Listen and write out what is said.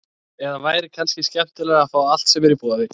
Eða væri kannski skemmtilegra að fá allt sem er í boði?